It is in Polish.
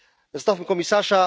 Zostawmy komisarza.